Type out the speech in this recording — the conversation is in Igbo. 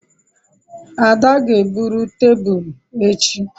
Ada ga-ebruru tebulu echi